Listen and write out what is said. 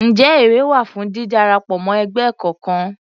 Ǹjẹ́ èrè wà fún dídarapọ̀ mọ́ ẹgbẹ́ kọkan?